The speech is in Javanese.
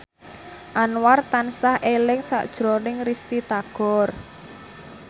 Anwar tansah eling sakjroning Risty Tagor